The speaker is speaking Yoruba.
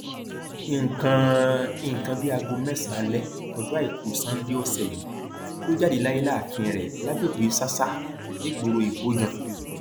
nǹkan nǹkan bíi aago mẹsànán alẹ ọjọ àìkú sannde ọsẹ yìí ló jáde láyé láàfin rẹ lágbègbè sàsà nígboro ibojàn